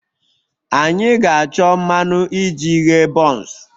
Anyị ga-achọ mmanụ iji ghee buns